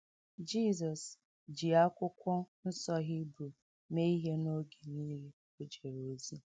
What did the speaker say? Jizọs ji Akwụkwọ Nsọ Hibru mee ihe n’oge nile o jere ozi